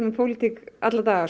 um pólitík alla daga